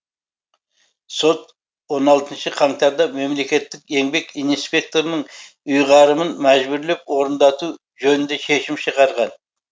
сот он алтыншы қаңтарда мемлекеттік еңбек инспекторының ұйғарымын мәжбүрлеп орындату жөнінде шешім шығарған